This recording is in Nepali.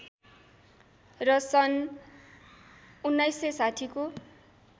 र सन् १९६० को